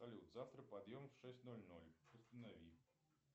салют завтра подъем в шесть ноль ноль установи